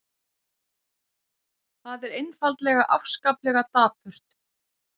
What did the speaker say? Það er einfaldlega afskaplega dapurt.